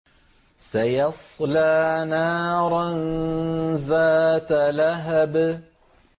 سَيَصْلَىٰ نَارًا ذَاتَ لَهَبٍ